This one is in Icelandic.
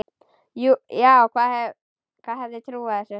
Já, hver hefði trúað þessu?